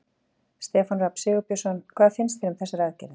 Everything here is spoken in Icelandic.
Stefán Rafn Sigurbjörnsson: Hvað finnst þér um þessar aðgerðir?